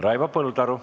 Raivo Põldaru.